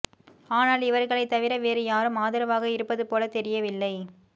ஆனால் இவர்களைத் தவிர வேறு யாரும் ஆதரவாக இருப்பது போலத் தெரியவில்லை